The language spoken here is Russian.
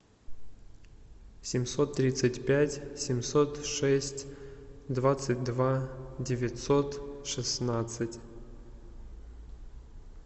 семьсот тридцать пять семьсот шесть двадцать два девятьсот шестнадцать